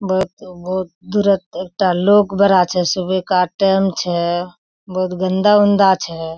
बहुत-बहुत दुरोत एकटा लोक बारा छे सुबह का टेम छे बोहोत गन्दा-उन्दा छे।